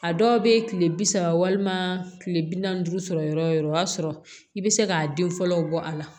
A dɔw bɛ kile bi saba walima kile bi naani duuru sɔrɔ yɔrɔ o yɔrɔ o y'a sɔrɔ i bɛ se k'a den fɔlɔ bɔ a la